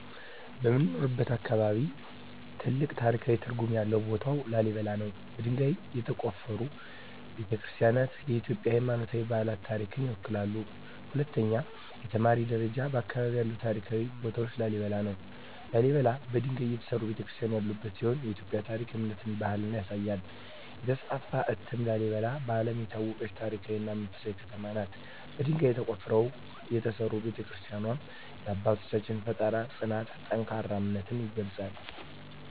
በምኖርበት አካባቢ ትልቅ ታሪካዊ ትርጉም ያለው ቦታ ላሊበላ ነው። በድንጋይ የተቆፈሩ ቤተ-ክርስቲያናትዋ የኢትዮጵያን ሃይማኖታዊና ባህላዊ ታሪክ ይወክላሉ። 2) የተማሪ ደረጃ በአካባቢያችን ያለው ታሪካዊ ቦታ ላሊበላ ነው። ላሊበላ በድንጋይ የተሠሩ ቤተ-ክርስቲያናት ያሉበት ሲሆን የኢትዮጵያን ታሪክ፣ እምነትና ባህል ያሳያል። 3) የተስፋፋ እትም ላሊበላ በዓለም የታወቀች ታሪካዊ እና መንፈሳዊ ከተማ ናት። በድንጋይ ተቆፍረው የተሠሩ ቤተ-ክርስቲያናትዋ የአባቶቻችንን ፍጠራ፣ ጽናትና ጠንካራ እምነት ይገልጻሉ።